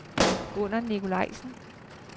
Gunnar Nikolajsen